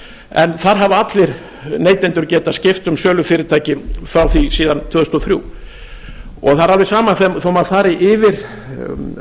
en þar hafa allir neytendur getað skipt um sölufyrirtæki frá því síðan tvö þúsund og þrjú það er alveg sama þó maður fari yfir